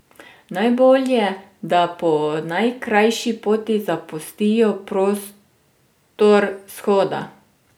Najbolje, da po najkrajši poti zapustijo prostor shoda.